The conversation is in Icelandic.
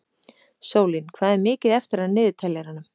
Sólín, hvað er mikið eftir af niðurteljaranum?